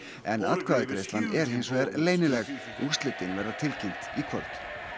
en atkvæðagreiðslan er hins vegar leynileg úrslitin verða tilkynnt í kvöld